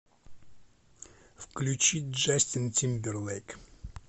включи джастин тимберлейк